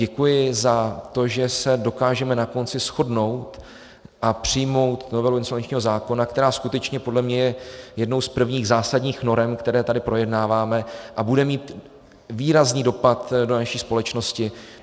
Děkuji za to, že se dokážeme na konci shodnout a přijmout novelu insolvenčního zákona, která skutečně podle mě je jednou z prvních zásadních norem, které tady projednáváme, a bude mít výrazný dopad do naší společnosti.